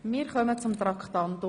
Wir kommen zu Traktandum 50.